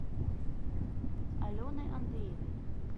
алены андреевой